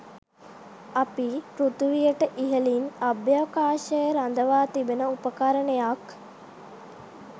අපි පෘථිවියට ඉහලින් අභ්‍යවකාශයේ රඳවා තිබෙන උපකරණයක්.